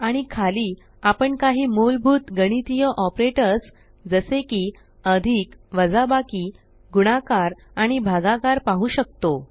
आणि खाली आपण काही मूलभूत गणितीय ऑपरेटर्स जसे की अधिक वाजाबकी गुणाकार आणि भागाकार पाहु शकतो